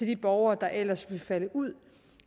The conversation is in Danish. de borgere der ellers vil falde ud